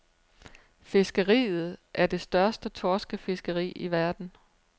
Fiskeriet er det største torskefiskeri i verden.